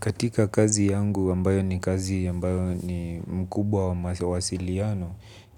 Katika kazi yangu ambayo ni kazi ambayo ni mkubwa wa mawasiliano.